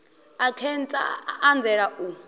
a khentsa a anzela u